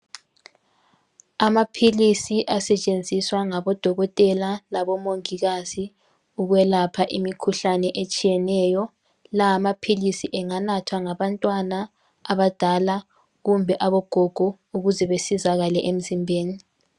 amaphilisi asetshenziswa ngabo dokotela labo mongikazi ukwelapha imikhuhlane etshiyeneyo la amaphilisi anganathwa ngabantwana abadala kumbe ogogo ukuze basizakale emzimbeni